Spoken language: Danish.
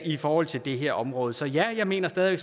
i forhold til det her område så ja jeg mener stadig